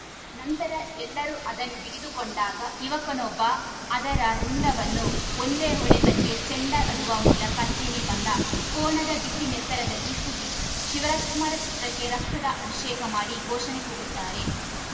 ನಂತರ ಎಲ್ಲರೂ ಅದನ್ನು ಹಿಡಿದುಕೊಂಡಾಗ ಯುವಕನೊಬ್ಬ ಅದರ ರುಂಡವನ್ನು ಒಂದೇ ಹೊಡೆತಕ್ಕೆ ಚೆಂಡಾಡುವ ಮೂಲಕ ಚಿಮ್ಮಿ ಬಂದ ಕೋಣದ ಬಿಸಿ ನೆತ್ತರದಲ್ಲಿ ಸುದೀಪ್‌ ಶಿವರಾಜಕುಮಾರ ಚಿತ್ರಕ್ಕೆ ರಕ್ತದ ಅಭಿಷೇಕ ಮಾಡಿ ಘೋಷಣೆ ಕೂಗುತ್ತಾರೆ